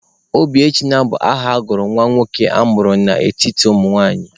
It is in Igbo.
Obiechina bụ aha a na-agụ nwa nwoke a mụrụ n'etiti ụmụnwaanyị.